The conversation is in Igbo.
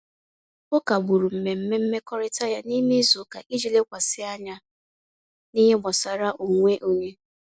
O kagbụrụ mmemme mmekọrịta ya n'ime izuụka iji lekwasị anya n'ihe gbasara onwe onye.